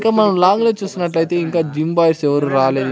ఇక్కడ మనం లాగులో చూసినట్టయితే ఇంకా జిమ్ బాయ్స్ ఎవరు రాలేదు.